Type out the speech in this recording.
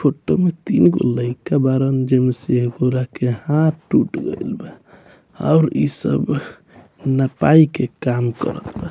photo में तीन गो लइका बाड़न जे में से एगो रा के हाथ टूट गेल बा और इ सब नपाई के काम करत बा |